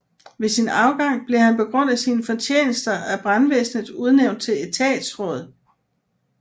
Ved sin afgang blev han på grund af sine fortjenester af brandvæsenet udnævnt til etatsråd